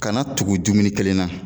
Kana tugu dumuni kelen na